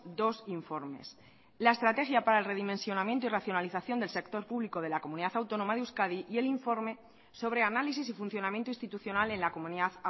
dos informes la estrategia para el redimensionamiento y racionalización del sector público de la comunidad autónoma de euskadi y el informe sobre análisis y funcionamiento institucional en la comunidad